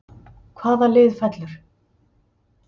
Hvaða lið fellur???